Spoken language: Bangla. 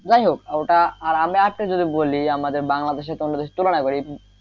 যাইহোক ওটা আর আমি আরেকটা জিনিস বলি আমাদের বাংলাদেশ টাংলাদেশে তুলনা করি,